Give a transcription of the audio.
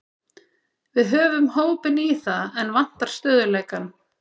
Við höfum hópinn í það, en vantar stöðugleikann.